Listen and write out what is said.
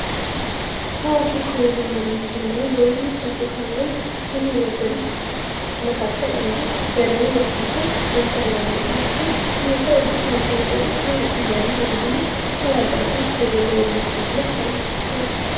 ታዋቂ ከሆኑ መሪዎችን ወይንም ደግሞ በብዙዎች አፍሪካዊያን ዘንድ ከሚወዳዱት መካከል አንዱ የደቡብ አፍሪካው ኔልሰን ማንዴላ ሲሆን፤ ይህ ሰው ልጅጉን የተወደደ ታዋቂ መሪ ደግሞ ታዋቂ አባት ልንለው የምንችለው ሰው ነው ማለት ነው።